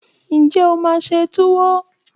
Ǹjẹ́ o máa se Tuwo?